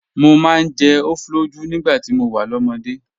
Mo máa ń jẹ ofoloju nígbà tí mo wà lọ́mọdé.